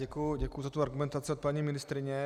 Děkuji za tu argumentaci od paní ministryně.